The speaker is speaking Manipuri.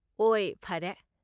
ꯑꯣꯏ ꯐꯔꯦ꯫